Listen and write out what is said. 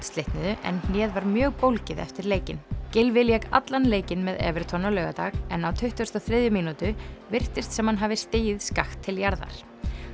slitnuðu en hnéð var mjög bólgið eftir leikinn Gylfi lék allan leikinn með Everton á laugardag en á tuttugustu og þriðju mínútu virtist sem hann hafi stigið skakkt til jarðar